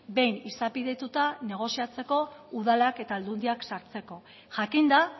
behin izapidetuta negoziatzeko udalak eta aldundiak sartzeko jakinda